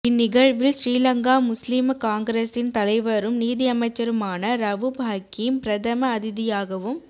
இந்நிகழ்வில் ஸ்ரீலங்கா முஸ்லிம காங்கிரஸின் தலைவரும் நீதியமைச்சருமான ரவூப் ஹக்கீம் பிரதம அதிதியாகவும்